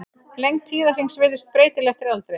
Lengd tíðahrings virðist breytileg eftir aldri.